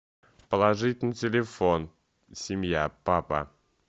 положить на телефон семья папа